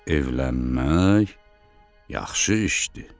Evlənmək yaxşı işdir.